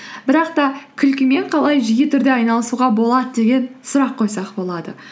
бірақ та күлкімен қалай жиі түрде айналысуға болады деген сұрақ қойсақ болады